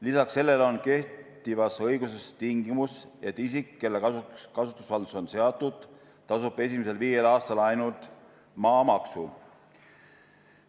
Lisaks sellele on kehtivas õiguses tingimus, et isik, kelle kasuks kasutusvaldus on seatud, tasub esimesel viiel aastal ainult maamaksu.